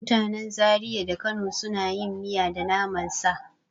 Mutanen Zariya da Kano suna yin miya da naman sa.